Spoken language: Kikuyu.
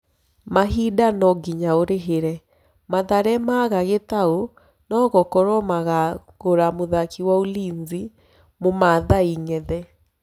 (Mahinda-nonginya ũrĩhĩre)Mathare maga Gitau, nogũkorwo makagũra mũthaki wa Ulinzi mũmathai Ng'ethe